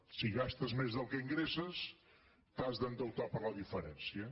si gastes més del que ingresses t’has d’endeutar per la diferència